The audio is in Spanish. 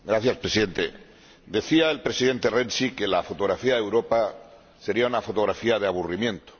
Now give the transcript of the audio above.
Señor Presidente, decía el Presidente Renzi que la fotografía de Europa sería una fotografía de aburrimiento.